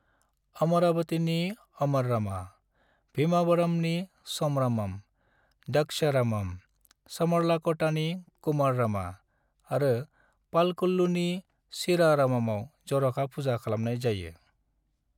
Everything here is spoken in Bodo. अमरावतीनि अमररामा, भीमावरमनि सोमरामम, द्रक्षरामम, समरलाकोटानि कुमाररामा आरो पालकोल्लूनि क्षीररामआव जर'खा पूजा खालामनाय जायो।